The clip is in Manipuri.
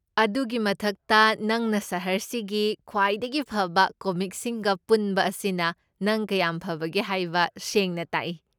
ꯑꯗꯨꯒꯤ ꯃꯊꯛꯇ, ꯅꯪꯅ ꯁꯍꯔꯁꯤꯒꯤ ꯈ꯭ꯋꯥꯏꯗꯒꯤ ꯐꯕ ꯀꯣꯃꯤꯛꯁꯤꯡꯒ ꯄꯨꯟꯕ ꯑꯁꯤꯅ ꯅꯪ ꯀꯌꯥꯝ ꯐꯕꯒꯦ ꯍꯥꯏꯕ ꯁꯦꯡꯅ ꯇꯥꯛꯏ꯫꯫